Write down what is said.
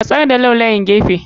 Matsar da laulawan gefe.